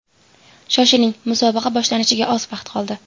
Shoshiling, musobaqa boshlanishiga oz vaqt qoldi.